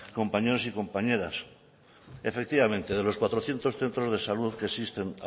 compañeros y compañeras efectivamente de los cuatrocientos centros de salud que existen